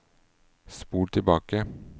spol tilbake